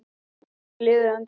Hvort liðið endar ofar?